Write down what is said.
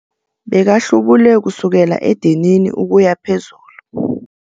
Bekahlubule kusukela edinini ukuya phezulu.